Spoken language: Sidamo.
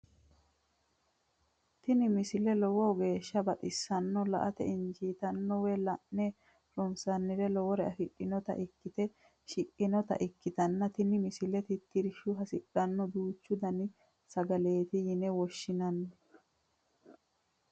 tini misile lowo geeshsha baxissannote la"ate injiitanno woy la'ne ronsannire lowore afidhinota ikkite shiqqinota ikkitanna tini misilera tittirsha hasidhanno duuchu dani sagaleeti yine woshshinanni.